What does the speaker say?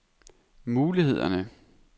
mulighederne